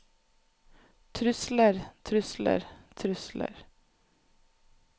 trusler trusler trusler